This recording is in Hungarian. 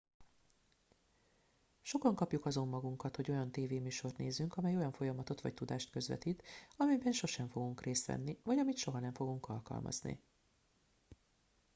sokan kapjuk azon magunkat hogy olyan tévéműsort nézünk amely olyan folyamatot vagy tudást közvetít amelyben sosem fogunk részt venni vagy amit soha nem fogunk alkalmazni